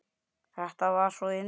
Það var svo indælt.